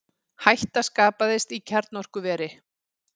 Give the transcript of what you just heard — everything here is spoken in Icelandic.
Hætta skapaðist í kjarnorkuveri